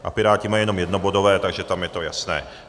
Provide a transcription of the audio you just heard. A Piráti mají jenom jednobodové, takže tam je to jasné.